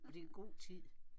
Og det er en god tid